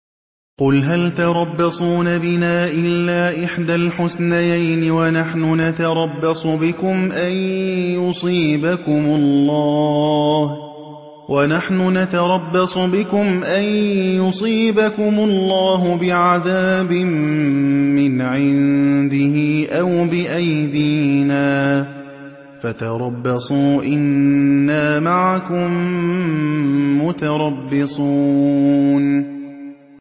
قُلْ هَلْ تَرَبَّصُونَ بِنَا إِلَّا إِحْدَى الْحُسْنَيَيْنِ ۖ وَنَحْنُ نَتَرَبَّصُ بِكُمْ أَن يُصِيبَكُمُ اللَّهُ بِعَذَابٍ مِّنْ عِندِهِ أَوْ بِأَيْدِينَا ۖ فَتَرَبَّصُوا إِنَّا مَعَكُم مُّتَرَبِّصُونَ